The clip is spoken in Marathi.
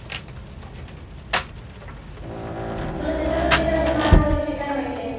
तुला छत्रपती महाराजांच्या विषयी काय माहिती आहे.